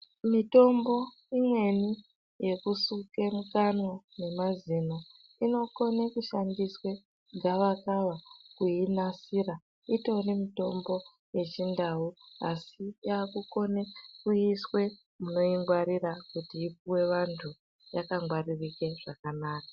Mitombo imweni yekusuke mukanwa nemazino inokone kushandiswe gawakawa kuinasira. Itori mitombo yechiNdau asi yakukone kuiswe munoingwarira kuti ipuwe vantu yakangwaririke zvakanaka.